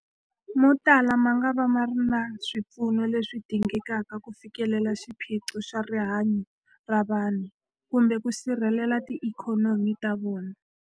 Motala mangava ma nga ri na swipfuno leswi dingekaka ku fikelela xiphiqo xa rihanyu ra vanhu kumbe ku sirhelela tiikhonomi ta vona.